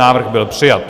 Návrh byl přijat.